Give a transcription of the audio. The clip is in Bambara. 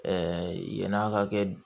yan'a ka kɛ